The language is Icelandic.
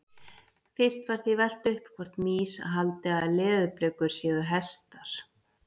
Fyrst var því velt upp hvort mýs haldi að leðurblökur séu hestar.